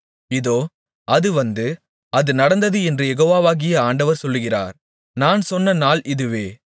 இதோ அது வந்து அது நடந்தது என்று யெகோவாகிய ஆண்டவர் சொல்லுகிறார் நான் சொன்ன நாள் இதுவே